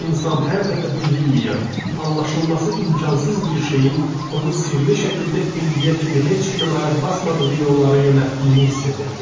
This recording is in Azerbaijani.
İnsan hər dəfə bilinməyən, anlaşılması imkansız bir şeyin onu sirli şəkildə indiyə kimi heç kimin ayaq basmadığı yollara yönəltdiyini hiss edirdi.